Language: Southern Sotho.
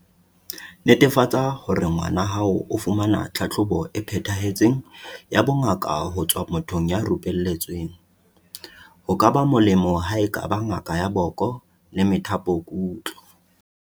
Netefatsa hore ngwana hao o fumana tlhahlobo e phethahetseng ya bongaka ho tswa mothong ya rupelletsweng, ho ka ba mo-lemo ha e ka ba ngaka ya boko le methapokutlo.